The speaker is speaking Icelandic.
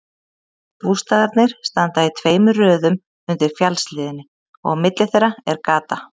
Bústaðirnir standa í tveimur röðum undir fjallshlíðinni og á milli þeirra er gata.